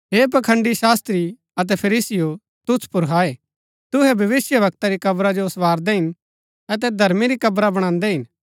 हे पखंड़ी शास्त्री अतै फरीसीयों तुसु पुर हाय तुहै भविष्‍यवक्ता री कब्रा जो सँवारदै हिन अतै धर्मी री कब्रा बणान्दै हिन